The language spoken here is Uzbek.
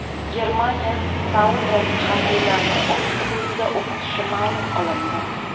Germaniya saudiyalik harbiylarni o‘z hududida o‘qitishi ma’lum qilindi.